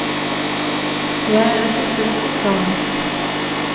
Jeg er ikke sulten, sa han.